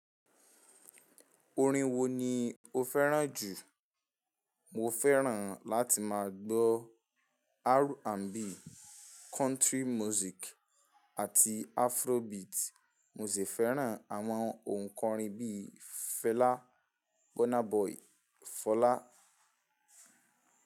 Orin wo ni o fẹ́ràn jù? Mo fẹ́ràn láti máa gbọ́ R&B, country music, àti Afrobeat. Mo sì fẹ́ràn àwọn òǹkọ́rin bíi Fela, Burna Boy, Fọlá.